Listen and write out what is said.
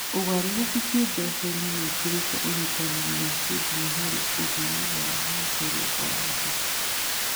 Ũgarũrũku kĩĩmbeca-inĩ nĩ ũkĩrĩtie ũnyitanĩri wa kĩndini harĩ ũthii wa na mbere wa andũ.